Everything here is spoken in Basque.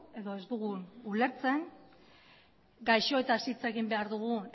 edo ez dugun ulertzen gaixoetaz hitz egin behar dugun